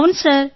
అవును సార్